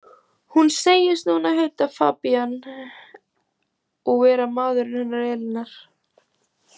Hún segist núna heita Fabien og vera maðurinn hennar Elínar.